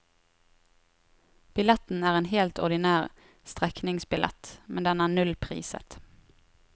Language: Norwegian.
Billetten er en helt ordinær strekningsbillett, men den er nullpriset.